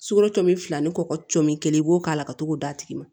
Sukaro cɔn fila ni kɔkɔ cinni kelen i b'o k'a la ka to k'o d'a tigi ma